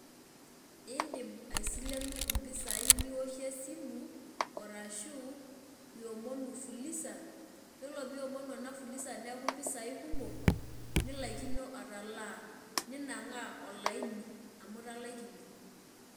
Idim aisilenu impisai niwoshie esimu, arashu iomonu fuliza, yiolo piomonu ena fuliza neeku mpisai kumok, nilaikino atalaa. Ninang'aa olaini amu italaikine.